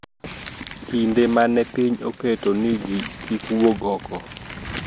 Kinde ma ne piny oketo ni ji kik wuog oko